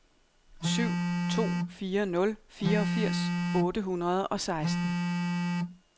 syv to fire nul fireogfirs otte hundrede og seksten